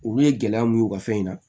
Olu ye gɛlɛya mun ye u ka fɛn in na